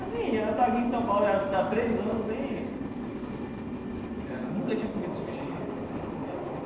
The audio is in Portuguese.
Eu nem ia, eu estava aqui em São Paulo já há três anos, nem... Eh eu nunca tinha comido sushi né na minha vida.